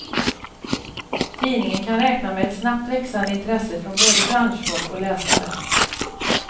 Tidningen kan räkna med ett snabbt växande intresse från både branschfolk och läsare.